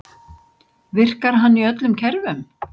Virkar hann í öllum kerfum?